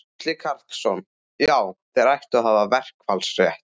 Gísli Karlsson: Já, þeir ættu að hafa verkfallsrétt?